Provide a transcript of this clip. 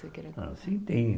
Ah sim, tem.